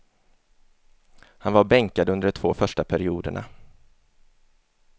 Han var bänkad under de två första perioderna.